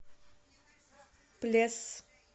плес